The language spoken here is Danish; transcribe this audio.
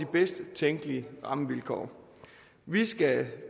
bedst tænkelige rammevilkår vi skal